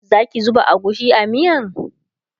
Zaki zuba agushi a miyan?